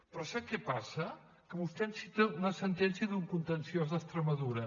però sap què passa que vostè em cita una sentència d’un contenciós d’extremadura